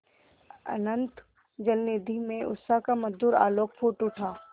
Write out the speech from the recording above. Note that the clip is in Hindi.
अनंत जलनिधि में उषा का मधुर आलोक फूट उठा